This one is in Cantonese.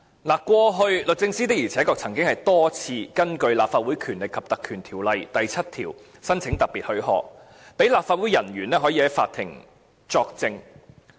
律政司過去曾多次根據《立法會條例》第7條申請特別許可，讓立法會人員可以在法庭作證。